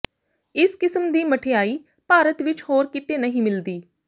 ਇਸ ਕਿਸਮ ਦੀ ਮਠਿਆਈ ਭਾਰਤ ਵਿਚ ਹੋਰ ਕਿਤੇ ਨਹੀਂ ਮਿਲਦੀ